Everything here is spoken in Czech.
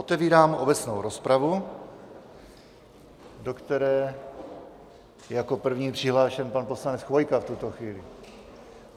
Otevírám obecnou rozpravu, do které je jako první přihlášen pan poslanec Chvojka v tuto chvíli.